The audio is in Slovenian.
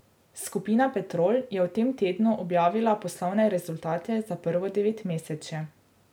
Skupina Petrol je v tem tednu objavila poslovne rezultate za prvo devetmesečje.